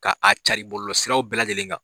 K'a cari bɔlɔlɔ siraw bɛɛ lajɛlen kan.